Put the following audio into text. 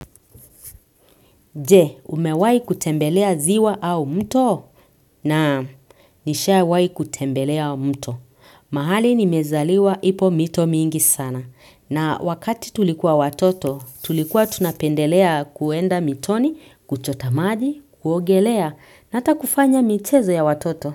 Je, umewai kutembelea ziwa au mto? Naam, nishawai kutembelea mto. Mahali nimezaliwa ipo mito mingi sana. Na wakati tulikuwa watoto, tulikuwa tunapendelea kuenda mitoni, kuchota maji, kuogelea, na ata kufanya michezo ya watoto.